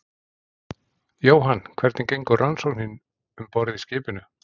Jóhann: Hvernig gengur rannsóknin um borð í skipinu?